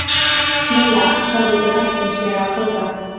Milla horfði glettnislega á Tóta.